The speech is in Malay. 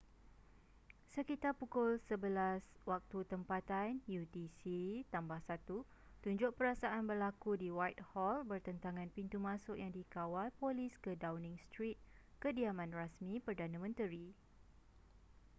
sekitar pukul 11:00 waktu tempatan utc +1 tunjuk perasaan berlaku di whitehall bertentangan pintu masuk yang dikawal polis ke downing street kediaman rasmi perdana menteri